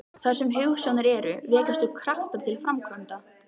Þar sem hugsjónir eru, vekjast upp kraftar til framkvæmda.